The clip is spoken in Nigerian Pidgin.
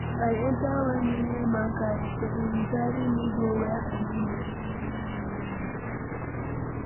I enter one yeye man car yesterday, he carry me go where I no know.